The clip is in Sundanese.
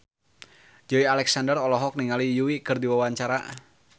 Joey Alexander olohok ningali Yui keur diwawancara